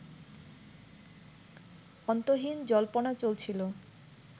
অন্তহীন জল্পনা চলছিলো